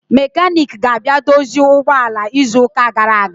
Mekaniki ga-abịa dozie ụgbọ ala izu ụka gara aga